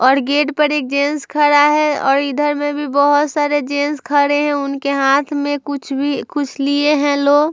और गेट पर एक जेंट्स खड़ा है और इधर में भी बहोत सारे जेंस खड़े हैं। उनके हाथ में कुछ भी कुछ लिए हैं लो ---